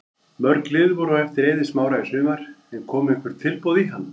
Mörg lið voru á eftir Eiði Smára í sumar en komu einhver tilboð í hann?